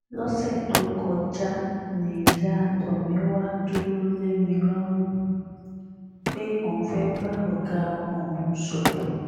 lọ́sẹ̀ tó kọjá níyà tomiwa dúró lé mi lọ́rùn pé òun fẹ́ẹ́ bá ọ̀gá ọmọ òun sọ̀rọ̀